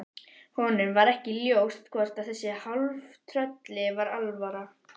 Honum var ekki ljóst hvort þessu hálftrölli var alvara.